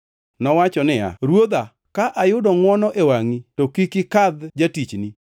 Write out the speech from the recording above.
Nowacho niya, “Ruodha ka ayudo ngʼwono e wangʼi, to kik ikadh jatichni.